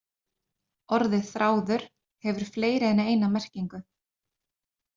Orðið þráður hefur fleiri en eina merkingu.